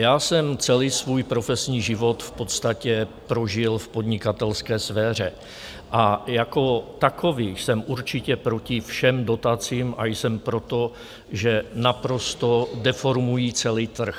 Já jsem celý svůj profesní život v podstatě prožil v podnikatelské sféře, a jako takový jsem určitě proti všem dotacím a jsem proto, že naprosto deformují celý trh.